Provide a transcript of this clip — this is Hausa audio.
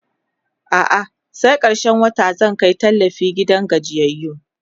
a'a sai karshen wata zan Kai tallafi gidan gajiyayyu